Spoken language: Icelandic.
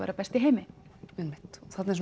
vera best í heimi einmitt þarna er